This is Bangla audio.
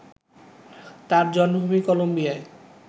তাঁর জন্মভূমি কলম্বিয়ায়